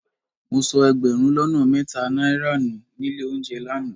Mo sọ ẹgbẹ̀rún lọ́nà mẹ́ta náírà nù nílé olóunjẹ lánàá